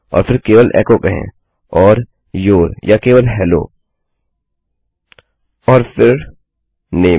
फिर केवल एको कहें और यूर या केवल हेलो और फिर name